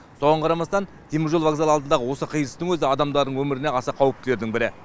соған қарамастан теміржол вокзалы алдындағы осы қиылыстың өзі адамдардың өміріне аса қауіптілердің бірі